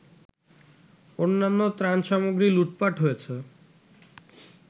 অন্যান্য ত্রাণসামগ্রী লুটপাট হয়েছে